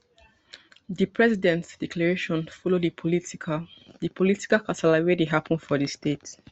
di president declaration follow di political di political kasala wey dey happun for di state